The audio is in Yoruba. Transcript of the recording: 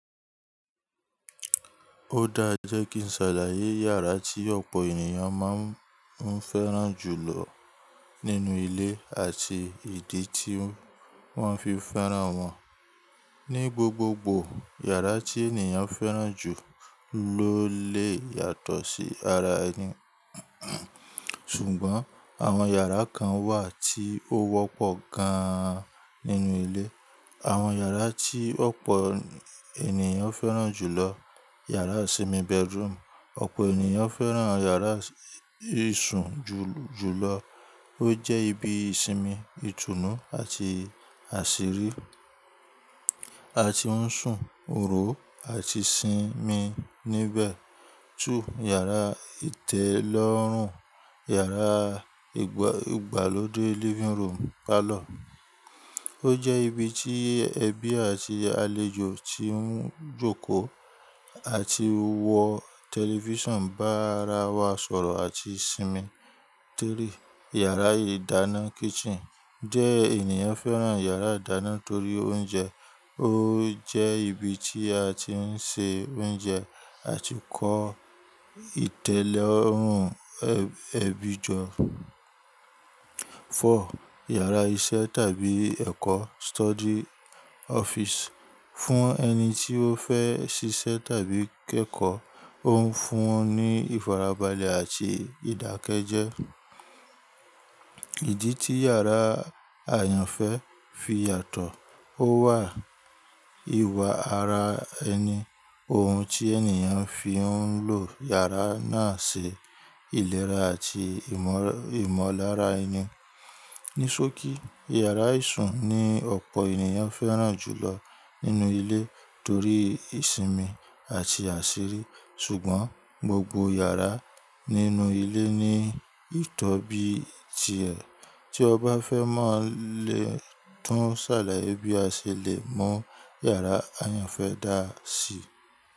Ó dáa e jẹ́ kí n ṣàlàyé yàrá tí ọ̀pọ̀ ènìyàn máa ń fẹ́ràn jù lọ nínú ilé àti ìdí tí wọ́n fi fẹ́ràn wọn. Ní gbogbogbò, yàrá tí ènìyàn fẹ́ràn jù ló lè yàtọ̀ sí yara ẹni, ṣùgbọ́n àwọn yàrá kan wà tí ó wọ́pọ̀ gan an nínú ilé. Àwọn yàrá tí ọ̀pọ̀ ènìyàn fẹ́ràn jù lọ. Yàrá ìsinmi bedroom: ọ̀pọ̀ ènìyàn fẹ́ràn yàrá ìsun jù lọ. Ó jẹ́ ibi ìsinmi, ìtùnú àti àṣírí, a ti ń sun, hóòrò àti sinmi níbẹ̀. 2. Yàrá ìtẹ́lọ́rùn/yàrá ìgbàlódé living room/parlour: ó jẹ́ ibi tí ẹbí àti àlejò tí ń jókòó àti wo tẹlifíṣàn bá ara wa sọ̀rọ̀ àti sinmi. 3. Yàrá ìdáná kitchen: jẹ ẹniyan fẹ́ràn yàrá ìdáná torí oúnjẹ. O je ibi ti a ti n se ounje ati ko itelorun ebi jo 4. Yàrá iṣẹ́ tàbí ẹ̀kọ́ study/office: fún ẹni tí ó fẹ́ ṣíṣẹ́ tàbí kẹ́kọ̀ọ́, ó ń fún un ní ìfarabalẹ̀ àti ìdákẹ́jẹ́. Ìdí tí yàrá àyànfẹ́ fi yàtọ̀ ó wà ìwà ara ẹni, ohun tí ènìyàn fi ń lò yàrá náà ṣe, ìlera àti ìmọ̀lára ẹni. Ní sókí, yàrá ìsun ni ọ̀pọ̀ ènìyàn fẹ́ràn jù lọ nínú ilé torí ìsinmi àti àsírí. Ṣùgbọ́n, gbogbo yàrá nínú ilé ní ìtọ́bi ti ẹ̀. Tí o bá fẹ́ mọ̀ lè tún ṣàlàyé bí a ṣe lè mọ̀ yàrá ayànfẹ́ dáa sí.